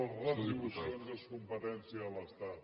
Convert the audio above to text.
les retribucions és competència de l’estat